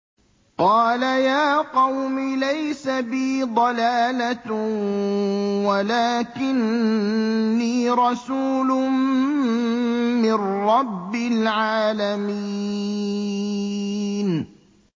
قَالَ يَا قَوْمِ لَيْسَ بِي ضَلَالَةٌ وَلَٰكِنِّي رَسُولٌ مِّن رَّبِّ الْعَالَمِينَ